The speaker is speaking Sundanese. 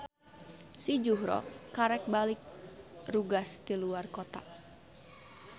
Si Juhro karek balik rugas ti luar kota.